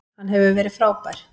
Hann hefur verið frábær.